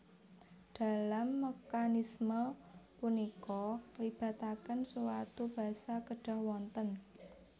Dalam mekanisme punika ngelibataken suatu basa kedhah wonten